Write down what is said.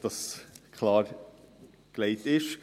Nur, damit dies klargestellt ist.